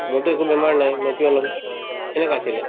মোৰতো একো বেমাৰ নাই মই কিয় লম সেনেকা আছিলে